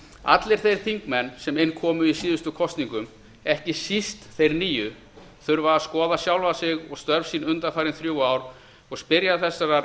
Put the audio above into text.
allir þeir þingmenn sem inn komu í síðustu kosningum ekki síst þeir nýju þurfa að skoða sjálfa sig og störf sín undanfarin þrjú ár og spyrja þessarar